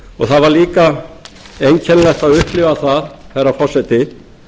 það var líka einkennilegt að upplifa það herra forseti